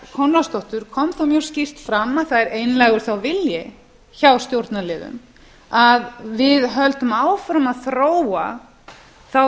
konráðsdóttur kom mjög skýrt fram að það er einlægur þá vilji hjá stjórnarliðum að við höldum áfram að þróa þá